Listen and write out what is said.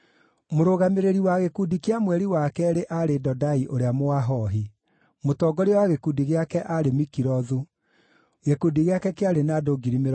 Mũrũgamĩrĩri wa gĩkundi kĩa mweri wa keerĩ aarĩ Dodai ũrĩa Mũahohi; mũtongoria wa gĩkundi gĩake aarĩ Mikilothu. Gĩkundi gĩake kĩarĩ na andũ 24,000.